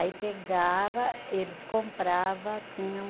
Aí pegava, eles comprava, tinha um